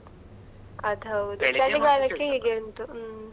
ಅದ್ ಹೌದು, ಹೀಗೆ ಉಂಟು.